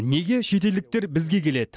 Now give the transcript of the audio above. неге шетелдіктер бізге келеді